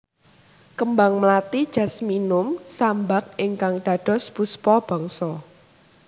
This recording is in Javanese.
Kembang mlati Jasminum sambac ingkang dados Puspa Bangsa